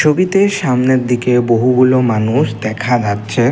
ছবিতে সামনের দিকে বহুগুলো মানুষ দেখা যাচ্ছে।